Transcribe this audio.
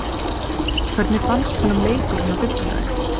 Hvernig fannst honum leikurinn á fimmtudaginn?